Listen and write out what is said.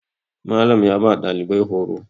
Malam ya ba ɗalibai horo